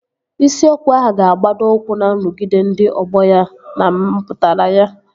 Isiokwu ahụ ga-agbado ụkwụ na nrụgide ndị ọgbọ ya na mpụtara ya